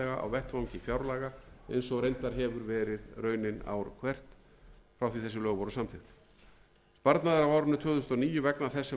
vettvangi fjárlaga eins og raunin hefur reyndar verið ár hvert frá því þessi lög voru samþykkt sparnaður á árinu tvö þúsund og níu vegna